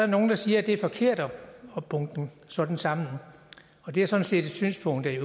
nogle der siger at det er forkert at bunke det sådan sammen og det er sådan set et synspunkt jeg